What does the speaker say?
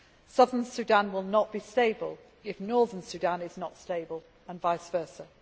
Southern Sudan will not be stable if Northern Sudan is not stable, and vice versa.